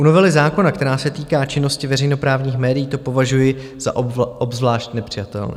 u novely zákona, která se týká činnosti veřejnoprávních médií, to považuji za obzvlášť nepřijatelné.